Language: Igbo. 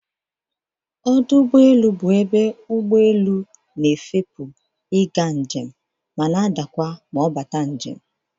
Ọdụ ụgbọelu bụ ebe ụgbọelu na-efepu ị ga njem ma na-adakwa ma ọ bata njem.